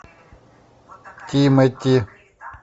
тимати